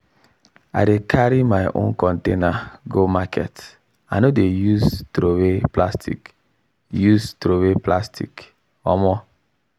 i dey carry my own container go market i no dey use throway plastic. use throway plastic. um